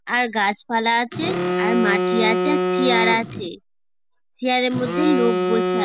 আর গাছ পালা আছে আর মাটি আছে আর চিয়ার আছে চিয়ার এর মধ্যে লোক বসে আ--